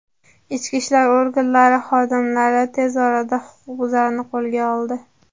Ichki ishlar organlari xodimlari tez orada huquqbuzarni qo‘lga oldi.